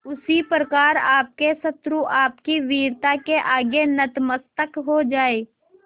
उसी प्रकार आपके शत्रु आपकी वीरता के आगे नतमस्तक हो जाएं